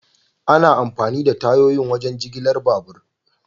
Ana amfani da tayoyi wajen jigilar babur.